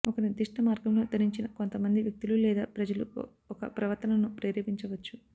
ఒక నిర్దిష్ట మార్గంలో ధరించిన కొంతమంది వ్యక్తులు లేదా ప్రజలు ఒక ప్రవర్తనను ప్రేరేపించవచ్చు